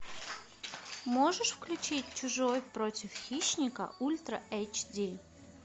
можешь включить чужой против хищника ультра эйч ди